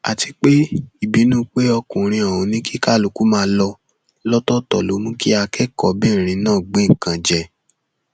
àti pé ìbínú pé ọkùnrin ọhún ní kí kálukú máa lọ lọtọọtọ ló mú kí akẹkọọbìnrin náà gbé nǹkan jẹ